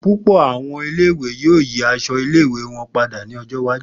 Pupọ awọn ile-iwe yoo yi awọn aṣọ ile-iwe wọn pada ni ọjọ iwaju.